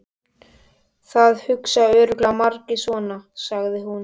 Það hugsa örugglega margir svona, sagði hún.